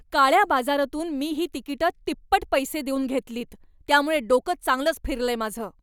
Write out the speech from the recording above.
काळ्या बाजारातून मी ही तिकिटं तिप्पट पैसे देऊन घेतलीत त्यामुळे डोकं चांगलंच फिरलंय माझं.